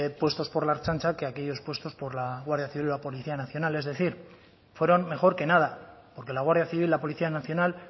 puestos por la ertzaintza que aquellos puestos por la guardia civil o la policía nacional es decir fueron mejor que nada porque la guardia civil o la policía nacional